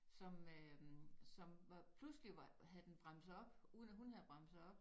Som øh som var pludselig var havde den bremset op uden at hun havde bremset op